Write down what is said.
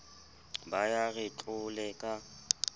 ba ya re tlole ka